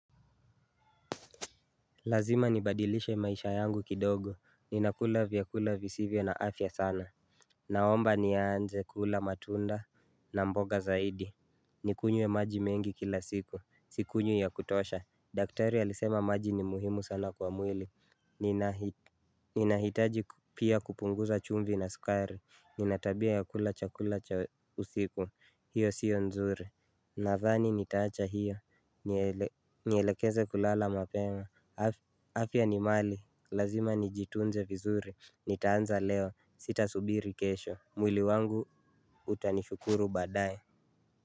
Lazima nibadilishe maisha yangu kidogo, ninakula vyakula visivyo na afya sana. Naomba nianze kula matunda na mboga zaidi. Nikunywe maji mengi kila siku, sikunywi ya kutosha, daktari alisema maji ni muhimu sana kwa mwili. Ninahitaji pia kupunguza chumvi na skari, nina tabia ya kula chakula cha usiku, hiyo sio nzuri. Nathani nitaacha hiyo, nielekeze kulala mapema, afya ni mali, lazima nijitunze vizuri, nitaanza leo, sitasubiri kesho, mwili wangu utanishukuru baadaye.